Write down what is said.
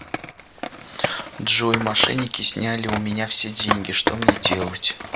джой мошенники сняли у меня все деньги что мне делать